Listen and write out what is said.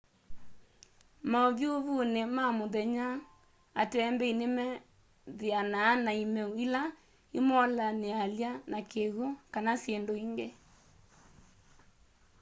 maũvyũvũnĩ ma mũthenya atembeĩ nĩmethĩanaa na ĩmeũ ĩla ĩmolanĩalya na kĩw'ũ. kana syĩndũ ĩngĩ